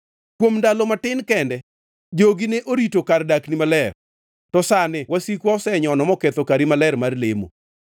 Kuom ndalo matin kende jogi ne orito kar dakni maler, to sani wasikwa osenyono moketho kari maler mar lemo.